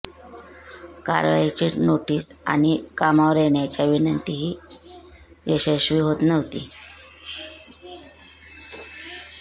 कारवाईची नोटीस आणि कामावर येण्याच्या विनंतीही यशस्वी होत नव्हती